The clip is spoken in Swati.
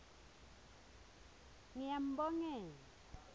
ngiyambongela